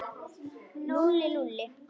Lúlli, Lúlli.